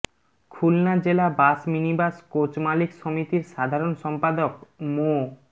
খুলনা জেলা bus minibus coach মালিক সমিতির সাধারণ সম্পাদক মো